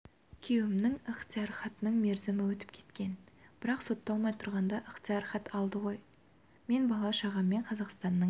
күйеуімнің ықтияр хатының мерзімі өтіп кеткен бірақ сотталмай тұрғанда ықтияр хат алды ғой мен бала-шағаммен қазақстанның